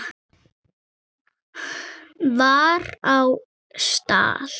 var á stall.